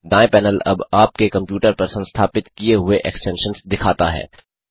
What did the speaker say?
दाएँ पैनल अब आपके कंप्यूटर पर संस्थापित किये हुए एक्सटेंशन्स दिखाता है